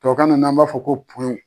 Tubabu kan na b'a fɔ ko